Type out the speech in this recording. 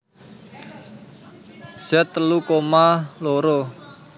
Z telu koma loro